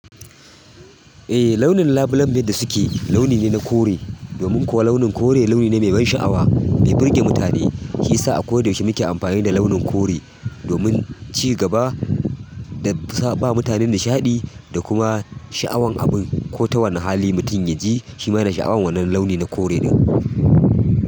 Eh launin labule dai da suke yi launi ne na kore domin kuwa launin kore launi ne mai ban sha'awa, mai burge mutane. Shi ya sa a koda yaushe muke amfani da launin kore domin ci gaba da sa ba mutane nishaɗi da kuma sha'awan abun ko ta wani hali mutum ya ji shi ma ya na sha'awan wannan launi na kore ɗin.